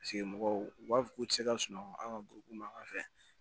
Paseke mɔgɔw u b'a fɔ k'u tɛ se ka sunɔgɔ an ka buru makan fɛ